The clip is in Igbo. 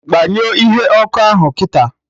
Gbanyụọ ihe ọkụ ahụ kịta!